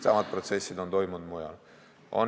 Samad protsessid on toimunud mujal.